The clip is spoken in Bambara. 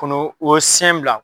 Kɔnɔ o ye sɛn bila